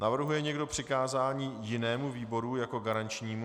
Navrhuje někdo přikázání jinému výboru jako garančnímu?